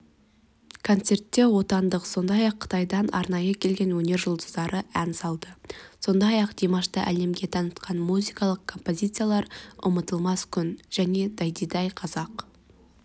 концертте отандық сондай-ақ қытайдан арнайы келген өнер жұлдыздары ән салды сондай-ақ димашты әлемге танытқан музыкалық композициялар ұмытылмас күн және дайдидау қазақ